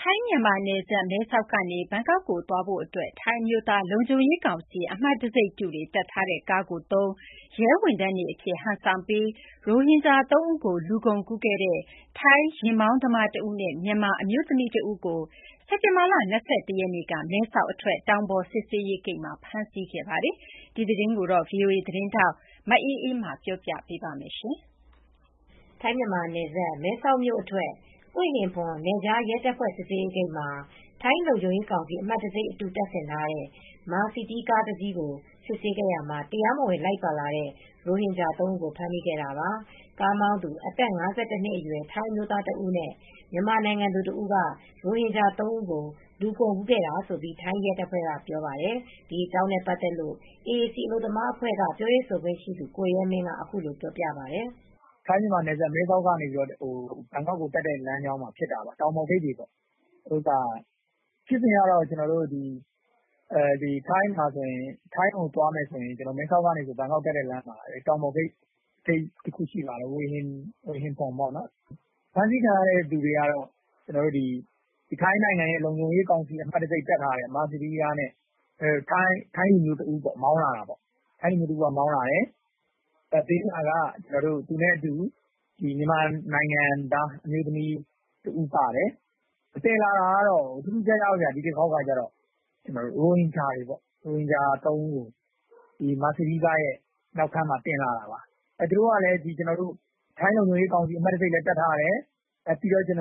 ထိုင်း - မြန်မာနယ်စပ် မဲဆောက် ကနေ ဘန်ကောက်ကို တက်ဖို့အတွက် ထိုင်းအမျိုးသား လုံခြုံရေးကောင်စီ အမှတ်တံဆိပ်အတုတွေ တပ်ဆင်ထားတဲ့ ကားကို အသုံးပြုပြီး အစိုးရ ရဲဝန်ထမ်းတွေအဖြစ် ဟန်ဆောင်ကာ ရိုဟင်ဂျ ာ၃ ဦးကို လူကုန်ကူးခဲ့တဲ့ ထိုင်းကားမောင်းသမားတဦးနဲ့ မြန်မာ အမျိုးသမီးတဦးကို စက်တင်ဘာလ၂၁ ရက်နေ့ မဲဆောက် အထွက် တောင်ပေါ်စစ်ဆေးရေး ဂိတ်မှ ာဖမ်းဆီးခဲ့ပါတယ်။ ဒီသတင်းကို ဗွီအိုအေ သတင်းထောက် မအေးအေးမာက ပြောပြပေးပါမယ်။ ထိုင်း- မြန်မာ နယ်စပ် မဲဆောက်မြို့အထွက် ဟွေဟင်ဖွန် နယ်ခြား ရဲတပ်ဖွဲ့စစ်ဆေးရေးဂိတ်မှာ ထိုင်းလုံခြုံရေးကောင်စီ အမှတ်တံဆိပ် အတုတပ်ဆင်ထားတဲ့ ကားကို စစ်ဆေးခဲ့ရာမှာ တရားမဝင် လိုက်ပါလာတဲ့ရိုဟင်ဂျာ ၃ ဦးကို ဖမ်းမိခဲ့တာပါ။ ကားမောင်းသူ အသက် ၅၁ နှစ်အရွယ် ထိုင်းအမျိုးသားတဦးနဲ့ မြန်မာနိုင်ငံသူတဦးက ရိုဟင်ဂျာ ၃ ဦးကို လူကုန်ကူးခဲ့တာလို့ ထိုင်းရဲတပ်ဖွဲကပြောပါတယ်။ ဒီအကြောင်းနဲ့ ပတ်သက်လို့ AAC အလုပ်သမား ကူညီရေးအဖွဲ့က ပြောရေးဆိုခွင့်ရှိသူ ကိုရဲမင်းက အခုလိုပြောပါတယ်။ " ထိုင်း - မြန်မာနယ်စပ် ဘန်ကောက်ကိုတက်မယ့် လမ်းကြောင်းမှာဖြစ်တာပေါ့။ ဖြစ်စဉ်ကတော့ မဲဆောက်ကနေ ဘန်ကောက်တက်ရင် တောင်ပေါ်ဂိတ် ဟွေဟင်ဖွန် ဂိတ်ဆိုတာရှိတယ်။ ဖမ်းဆီးခံရသူတွေက တော့ ထိုင်းနိုင်ငံရဲ့လုံခြုံရေး အမှတ်တံဆိပ်တပ်ထားတဲ့ ကားနဲ့ထိုင်းလူမျိုးတဦးက မောင်းလာတယ်။ ဘေးမှာက သူနဲ့အတူ မြန်မာနိုင်ငံသား အမျိုးသမီးပါတယ် ။ ဒီတခေါက်ကတော့ ထူးထူးခြားခြားပဲ။ ရိုဟင်ဂျာတွေ။ ရိုဟင်ဂျာ ၃ ဦးကို မာစီးဒီး ကားရဲ့နောက်ခန်းမှာ တင်လာတာပါ။ သူတို့က ထိုင်းလုံခြုံရေးကောင်စီ အမှတ်တံဆိပ်လည်း တပ်ထားတယ်။ ထိုင်းအစိုးရ ဌာ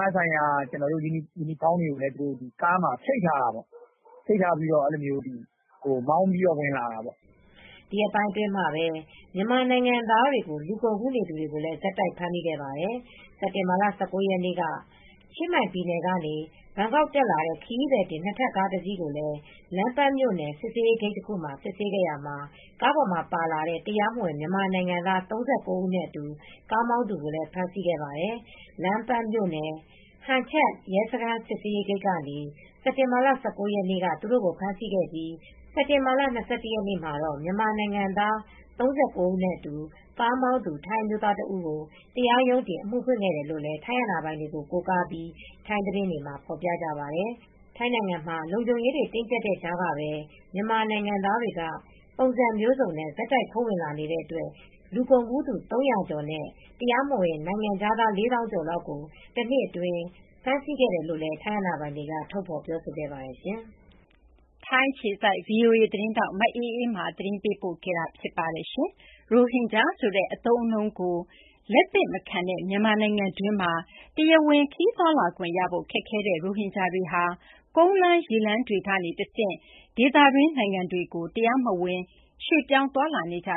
နဆိုင်ရာ ယူနီဖောင်းတွေကို ကားမှာချိတ်ထားပြီး မောင်းပြီး ဝင်လာတာပေါ့။ " ဒီရက်ပိုင်းအတွင်းမှာ မြန်မာနိုင်ငံသားတွေကို လူကုန်ကူးနေသူတွေကိုလည်း ဆက်တိုက် ဖမ်းမိခဲ့ပါတယ်။ စက်တင်ဘာလ ၁၉ ရက်နေ့က ချင်းမိုင်ပြည်နယ် ကနေ ဘန်ကောက် တက်လာတဲ့ ခရီးသည်တင် နှစ်ထပ်ကားတစီးကိုလည်း လမ်းပန်းမြို့နယ် စစ်ဆေးရေး ဂိတ်တခုကစစ်ဆေးခဲ့ရာ ကားပေါ်မှာပါလာတဲ့ တရားမဝင် မြန်မာနိုင်ငံသား ၃၉ ဦးနဲ့အတူ ကားမောင်းသူကိုဖမ်းဆီးခဲ့ပါတယ်။ လမ်းပန်း မြို့နယ် ဟန်ချပ် Hang Chat Police Station ရဲစခန် းစစ်ဆေးရေးဂိတ်က စက်တင်ဘာလ၁၉ ရက်နေ့က သူတို့ကိုဖမ်းဆီးခဲ့ပြီးစက်တင်ဘာလ၂၁ ရက်နေ့မှာတော့ မြန်မာနိုင်ငံသား၃၉ ဦးနဲ့အတူ ကားမောင်းသူ ထိုင်းအမျိုးသားတဦး ကို တရားရုံးတင် အမှုဖွင့်ခဲ့တယ်လို့ လည်း ထိုင်းအာဏာပိုင်တွေကို ကိုးကားပြီး ထိုင်းသတင်းတွေမှာ ဖော်ပြကြပါတယ် ။ ထိုင်းနိုင်ငံမှာ လုံခြုံရေးတွေ တင်းကြပ်နေတဲ့ ကြားကပဲမြန်မာနိုင်ငံသားတွေက ပုံစံမျိုးစုံနဲ့ ဆက်တိုက်ခိုးဝင်လာနေတဲ့ အတွက် လူကုန်ကူးသူတွေ ၃၀၀ ကျော်နဲ့ တရားမဝင် နိုင်ငံခြားသား ၄ သောင်းကျော်လောက်ကို တနှစ်အတွင်းဖမ်းဆီးခဲ့တယ်လို့လည်း ထိုင်အာဏာပိုင်တွေကထုတ်ဖော်ပြောဆိုခဲ့ပါတယ်။ မြန်မာနိုင်ငံတွင်းမှာ ရိုဟင်ဂျာဆိုတဲ့ အသုံးအနှုန်းကို လက်မခံတဲ့ အပြင် ခရီးသွားလာခွင့်လည်း ကန့်သတ်ခံထားရတဲ့ ဒီလူတွေဟာ ဒေသတွင်း နိုင်ငံတွေကို တရားမဝင် ထွက်ခွာ သွားလာနေကြ